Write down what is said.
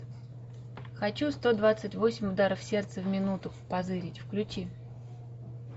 хочу сто двадцать восемь ударов сердца в минуту позырить включи